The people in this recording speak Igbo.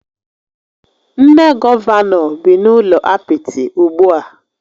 Nne Gọvanọ bị n'ụlọ apịtị ugbua